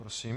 Prosím.